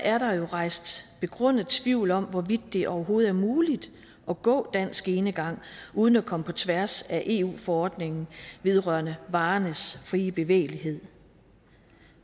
er der jo rejst begrundet tvivl om hvorvidt det overhovedet er muligt at gå dansk enegang uden at komme på tværs af eu forordningen vedrørende varernes frie bevægelighed